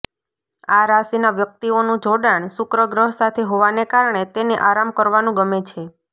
આ રાશીના વ્યક્તિઓનું જોડાણ શુક્ર ગ્રહ સાથે હોવાને કારણે તેને આરામ કરવાનું ગમે છે